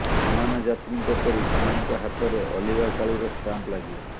ବିମାନ ଯାତ୍ରୀଙ୍କ ପରି ସେମାନଙ୍କ ହାତରେ ଅଲିଭା କାଳିର ଷ୍ଟାମ୍ପ ଲାଗିବ